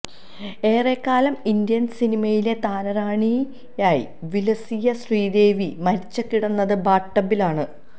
ഏറെക്കാലം ഇന്ത്യൻ സിനിമയിലെ താരറാണിയായി വിലസിയ ശ്രീദേവി മരിച്ചു കിടന്നതും ബാത്ടബ്ബിലാണ്